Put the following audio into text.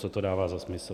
Co to dává za smysl?